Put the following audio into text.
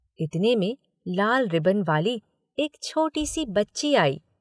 इतने में लाल रिबन वाली एक छोटी-सी बच्ची आई।